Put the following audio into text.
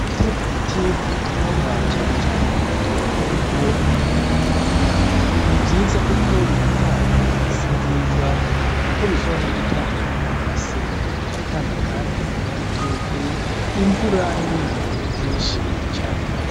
Gutera ibiti kumitumba cane cane mumatongo aho abanyagihugu barima ni vyiza kuko biratanga isi nziza kuko bishobora no gutanga amase biratanga kandi igitutu, imvura n' ibindi vyinshi cane.